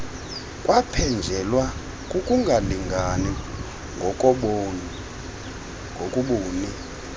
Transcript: kwaphenjelelwa kukungalingani ngokobuni